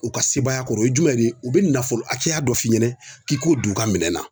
U ka sebaaya kɔrɔ o ye jumɛn ye u bɛ nafolo hakɛya dɔ f'i ɲɛna k'i k'o don u ka minɛn na